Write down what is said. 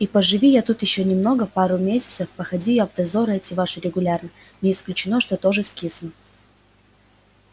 и поживи я тут ещё немного пару месяцев походи я в дозоры эти ваши регулярно не исключено что тоже скисну